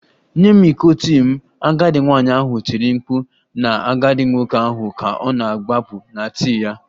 Nye m iko tii m! Agadi nwanyị ahụ tiri mkpu na agadi nwoke ahụ ka ọ na-agbapụ na tii ya